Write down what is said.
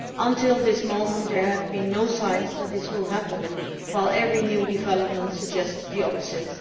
Until this moment, there have been no signs that this will happen, while every new development suggests the opposite.